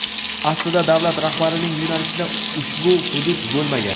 Aslida davlat rahbarining yo‘nalishida ushbu hudud bo‘lmagan.